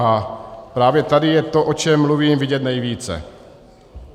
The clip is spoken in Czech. A právě tady je to, o čem mluvím, vidět nejvíce.